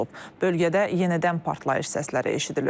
Bölgədə yenidən partlayış səsləri eşidilir.